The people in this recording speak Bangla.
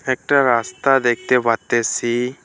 একটা রাস্তা দেখতে পারতেসি।